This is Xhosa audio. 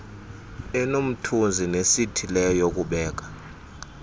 enomthunzi nesithileyo yokubeka